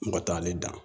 N ka taa ale dan